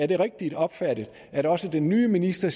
det rigtigt opfattet at også den nye minister